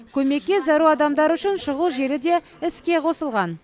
көмекке зәру адамдар үшін шұғыл желі де іске қосылған